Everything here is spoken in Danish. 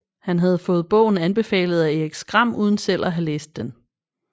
Han havde fået bogen anbefalet af Erik Skram uden selv at have læst den